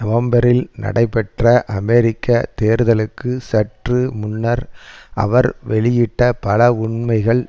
நவம்பரில் நடைபெற்ற அமெரிக்க தேர்தலுக்கு சற்று முன்னர் அவர் வெளியிட்ட பல உண்மைகள்